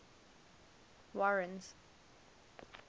warren's